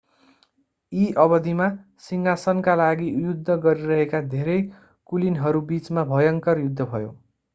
यी अवधिमा सिंहासनका लागि युद्ध गरिरहेका धेरै कुलीनहरूबीचमा भयङ्कर युद्ध भयो